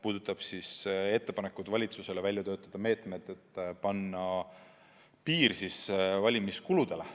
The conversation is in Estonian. See sisaldab ettepanekuid valitsusele välja töötada meetmed, et panna piir valimiskuludele.